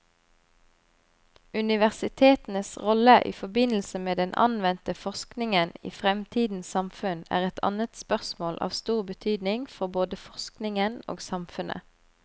Universitetenes rolle i forbindelse med den anvendte forskningen i fremtidens samfunn er et annet spørsmål av stor betydning for både forskningen og samfunnet.